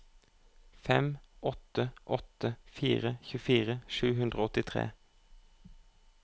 fem åtte åtte fire tjuefire sju hundre og åttitre